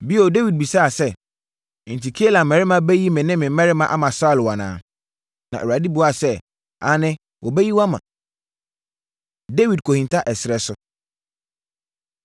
Bio, Dawid bisaa sɛ, “Enti, Keila mmarima bɛyi me ne me mmarima ama Saulo anaa?” Na Awurade buaa sɛ, “Aane, wɔbɛyi mo ama.” Dawid Kɔhinta Ɛserɛ So